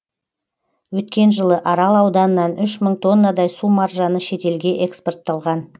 өткен жылы арал ауданынан үш мың тоннадай су маржаны шетелге экспортталған